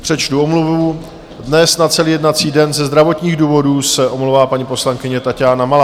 Přečtu omluvu: dnes na celý jednací den ze zdravotních důvodů se omlouvá paní poslankyně Taťána Malá.